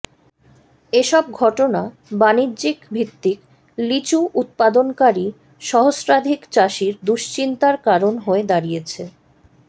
এসব ঘটনা বাণিজ্যিক ভিত্তিক লিচু উৎপাদনকারী সহস্রাধিক চাষির দুশ্চিন্তার কারণ হয়ে দাঁড়িয়েছে